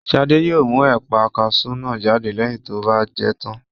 Shade yóò mú ẹ̀pà kasú náà jáde lẹ́yìn tó bá jẹ tán